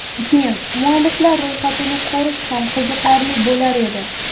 Keyin, mualliflar ro‘yxatini ko‘rish ham qiziqarli bo‘lar edi.